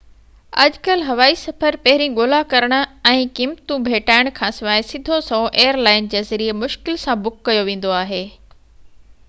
اڄ ڪل هوائي سفر پهرين ڳولا ڪرڻ ۽ قيمتون ڀيٽائڻ کانسواءِ سڌو سنئون ايئر لائن جي ذريعي مشڪل سان بڪ ڪيو ويندو آهي